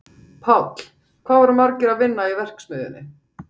Páll: Hvað voru margir að vinna í verksmiðjunni?